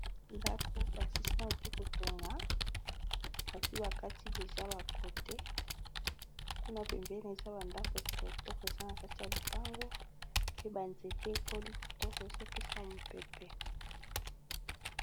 Ndako, ba silisi nanu te kotonga. Basi ba kati deja ba kote. Kuna pembeni, eza ba ndako ya kitoko, eza na kati ya lipango. Pe ba nzete ekoli kitoko. Ezo pesa mopepe.